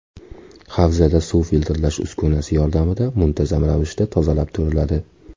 Havzada suv filtrlash uskunasi yordamida muntazam ravishda tozalab turiladi.